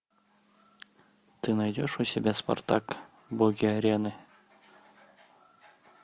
ты найдешь у себя спартак боги арены